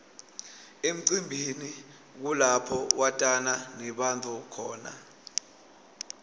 emcimbini kulapho watana nebantfu khona